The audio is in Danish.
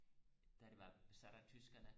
da det var besat af tyskerne